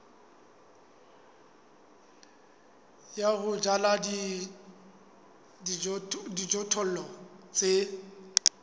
ya ho jala dijothollo tse